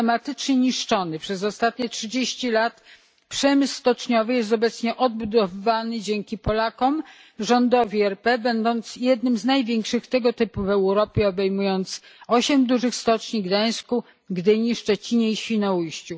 Systematycznie niszczony przez ostatnie trzydzieści lat przemysł stoczniowy jest obecnie odbudowywany dzięki Polakom, rządowi RP, będąc jednym z największych tego typu w Europie, obejmując osiem dużych stoczni w Gdańsku, Gdyni, Szczecinie i Świnoujściu.